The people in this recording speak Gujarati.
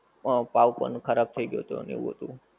હ પાવ કોનું ખરાબ થઈ ગયું હતું અને એવું હતું